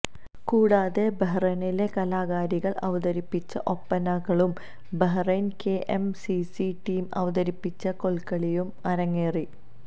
കൂടാതെ ബഹ്റൈനിലെ കലാകാരികൾ അവതരിപ്പിച്ച ഒപ്പനകളും Bahrain K M C C team അവതരിപ്പിച്ച കോൽക്കളിയും അരങ്ങേറി